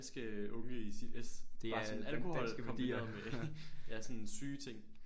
Men det er jo danske unge i sit es det er alkohol kombineret med ja sådan syge ting